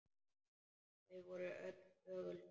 Þau voru öll þögul.